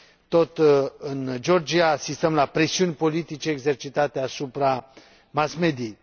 Tot în Georgia asistăm la presiuni politice exercitate asupra mass mediei.